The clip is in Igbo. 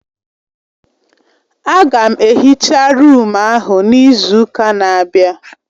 Aga m ehicha rụụm ahụ n'izu ụka na-abịa